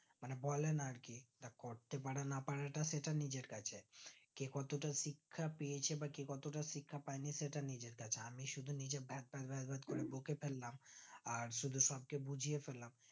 মানে বলে না আরকি করতে পরা না পরাটা সেটা নিজের কাছে কে কতটা শিক্ষা পেয়েছে বা কে কতটা শিক্ষা পাই নি সেটা নিজের কাছে আমি শুধু নিজের ভ্যা ভ্যা ভ্যা করে বকে ফেললাম আর সবকে শুধু বুঝিয়ে ফেললাম